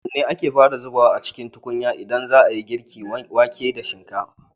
Wanne ake fara zubawa a cikin tukunya idan za a yi girka wake da shinkafa?